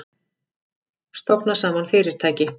Stofna saman fyrirtæki?